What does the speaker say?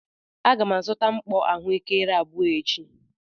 A ga m azụta mkpọ ahụekere abụọ echi.